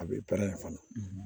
A bɛ pɛrɛn fana